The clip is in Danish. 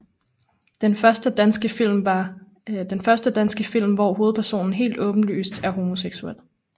Den første danske film hvor hovedpersonen helt åbenlyst er homoseksuel